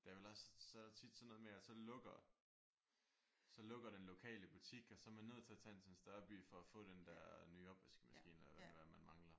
Det er vel også så er der tit sådan noget med at så lukker. Så lukker den lokale butik og så er man nødt til at tage ind til en større by få den der nye opvaskemaskine eller hvad det nu er man mangler